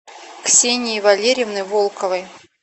ксении валерьевны волковой